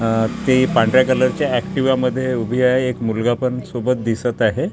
अह ते पांढऱ्या कलरचे एक्टिवा मध्ये उभी आहे एक मुलगा पण सोबत दिसत आहे.